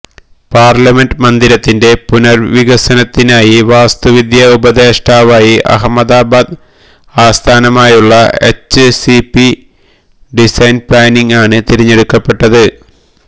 parliament മന്ദിരത്തിന്റെ പുനര്വികസനത്തിനായി വാസ്തുവിദ്യ ഉപദേഷ്ടാവായി അഹമ്മദാബാദ് ആസ്ഥാനമായുള്ള എച്ച്സിപി ഡിസൈന് പ്ലാനിംഗ് ആണ് തിരഞ്ഞെടുക്കപ്പെട്ടത്